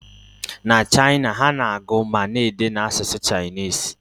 Na China, ha na-agụ ma na-ede n'asụsụ Chinese